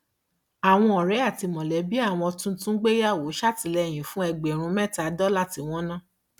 àwọn ọrẹ àti mọlẹbí àwọn tuntun gbéyàwó ṣètìlẹyìn fún ẹgbẹrún mẹta dọlà tí wọn ná